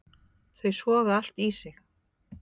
Þau soga allt í sig.